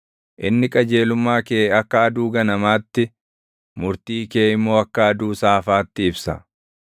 Inni qajeelummaa kee akka aduu ganamaatti, murtii kee immoo akka aduu saafaatti ibsa.